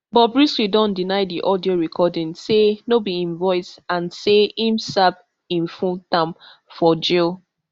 bobrisky don deny di audio recording say no be im voice and say im serve im full term for jail